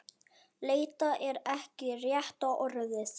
Leita er ekki rétta orðið.